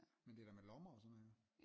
Men det er da med lommer og sådan noget